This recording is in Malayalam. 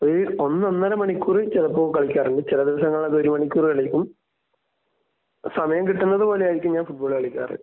ഒരു ഒന്ന് ഒന്നര മണിക്കൂർ ചിലപ്പൊ കളിക്കാറുണ്ട്. ചില ദിവസങ്ങളിൽ അതൊരു മണിക്കൂർ കളിക്കും. സമയം കിട്ടുന്നത് പോലെ ആയിരിക്കും ഞാൻ ഫുട്ബാൾ കളിക്കാറ്.